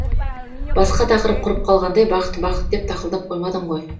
басқа тақырып құрып қалғандай бақыт бақыт деп тақылдап қоймадың ғой